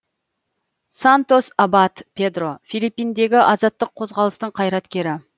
сантос абад педро филиппиндегі азаттық қозғалыстың қайраткері